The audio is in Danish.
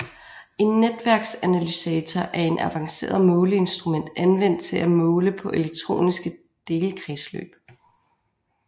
En netværksanalysator er et avanceret måleinstrument anvendt til at måle på elektroniske delkredsløb